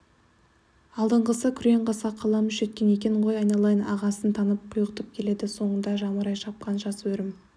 алдыңғысы күреңқасқа қаламүш жеткен екен ғой айналайын ағасын танып құйғытып келеді соңында жамырай шапқан жас өрім